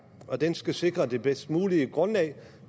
og den skal sikre det bedst mulige grundlag